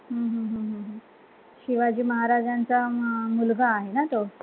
हम्म हम्म हम्म शिवाजी महाराजांचा म मुलगा आहे ना तो